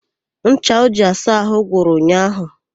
Ncha o ji asa àhụ́ gwụrụ ụnyaahụ.